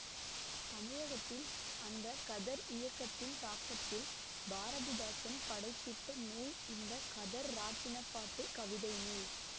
தமிழகத்தில் அந்த கதர் இயக்கத்தின் தாக்கத்தில் பாரதிதாசன் படைத்திட்ட நூல் இந்த கதர் இராட்டினப் பாட்டு கவிதை நூல்